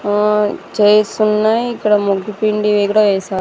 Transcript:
ఆ చైర్స్ ఉన్నాయి ఇక్కడ ముగ్గు పిండివి కూడా వేసారు.